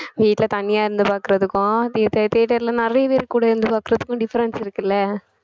வீட்ல தனியா இருந்து பாக்கறதுக்கும் theater theater ல நிறைய பேர் கூட இருந்து பாக்கறதுக்கும் difference இருக்குல்ல